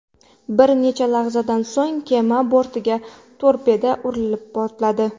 Bir necha lahzadan so‘ng kema bortiga torpeda urilib portladi.